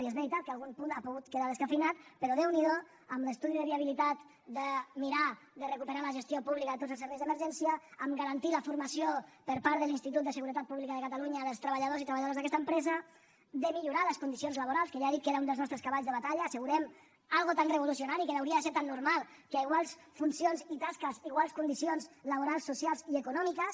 i és veritat que algun punt ha pogut quedar descafeïnat però déu n’hi do amb l’estudi de viabilitat per mirar de recuperar la gestió pública de tots els serveis d’emergència a garantir la formació per part de l’institut de seguretat pública de catalunya dels treballadors i treballadores d’aquesta empresa a millorar les condicions laborals que ja he dit que era un dels nostres cavalls de batalla assegurem una cosa tan revolucionària que hauria de ser tan normal que a iguals funcions i tasques iguals condicions laborals socials i econòmiques